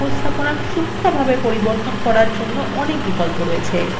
এবং charts উপস্থাপনা সুক্ষ্মভাবে পরিবর্তন করার অনেক বিকল্প আছে